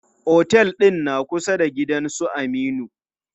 Otel ɗin na kusa da gidan su Aminu.